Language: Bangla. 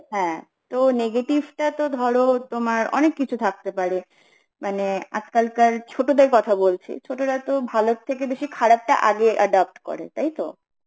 হ্যাঁ তো negative টা তো ধর তোমার অনেক কিছু থাকতে পারে মানে আজকালকার ছোটদের কথা বলছি, ছোটরা তো ভালোর থেকে বেশি খারাপ টা আগে adopt করে তাই তো